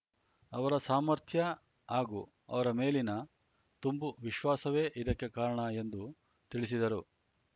ಅವರ ಸಾಮರ್ಥ್ಯ ಹಾಗೂ ಅವರ ಮೇಲಿನ ತುಂಬು ವಿಶ್ವಾಸವೇ ಇದಕ್ಕೆ ಕಾರಣ ಎಂದು ತಿಳಿಸಿದರು